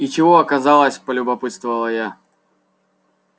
и чего оказалось полюбопытствовала я